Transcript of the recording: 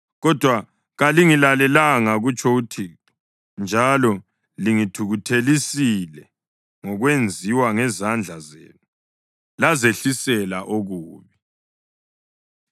“Kodwa kalingilalelanga,” kutsho uThixo, “njalo lingithukuthelisile ngokwenziwa ngezandla zenu, lazehlisela okubi.”